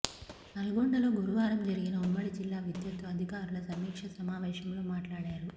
నల్గొండలో గురువారం జరిగిన ఉమ్మడి జిల్లా విద్యుత్తు అధికారుల సమీక్ష సమావేశంలో మాట్లాడారు